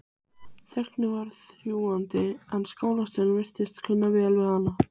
Þögnin var þrúgandi en skólastjóri virtist kunna vel við hana.